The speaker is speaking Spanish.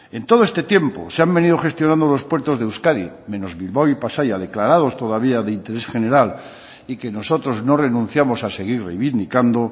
en todo este tiempo se han venido gestionando los puertos de euskadi menos bilbao y pasaia declarados todavía de interés general y que nosotros no renunciamos a seguir reivindicando